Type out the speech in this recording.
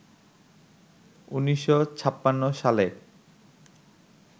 ১৯৫৬ সালে